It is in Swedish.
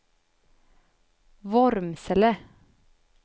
Vormsele